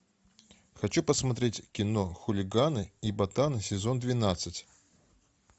хочу посмотреть кино хулиганы и ботаны сезон двенадцать